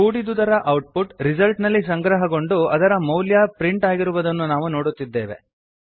ಕೂಡಿದುದರ output result ನಲ್ಲಿ ಸಂಗ್ರಹಗೊಂಡು ಅದರ ಮೌಲ್ಯ ಪ್ರಿಂಟ್ ಆಗಿರುವುದನ್ನು ನಾವು ನೋಡುತ್ತಿದ್ದೇವೆ